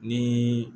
Ni